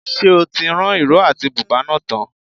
Ṣé o ti rán ìró àti bùbá náà tán?